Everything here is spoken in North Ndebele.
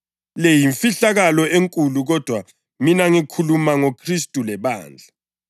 Le yimfihlakalo enkulu kodwa mina ngikhuluma ngoKhristu lebandla.